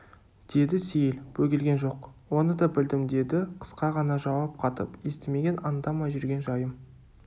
деді сейіл бөгелген жоқ оны да білдім деді қысқа ғана жауап қатып естімеген аңдамай жүрген жайым